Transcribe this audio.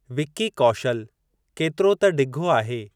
विक्की कौशल केतिरो त डिघो आहे!